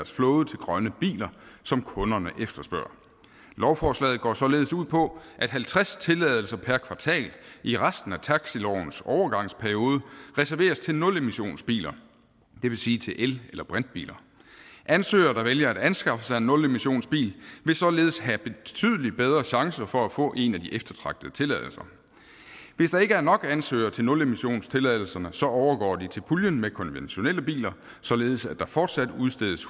flåde til grønne biler som kunderne efterspørger lovforslaget går således ud på at halvtreds tilladelser per kvartal i resten af taxilovens overgangsperiode reserveres til nulmissionsbiler det vil sige til el eller brintbiler ansøgere der vælger at anskaffe en nulemissionsbil vil således have betydelig bedre chancer for at få en af de eftertragtede tilladelser hvis der ikke er nok ansøgere til nulmissionstilladelserne overgår de til puljen med konventionelle biler således at der fortsat udstedes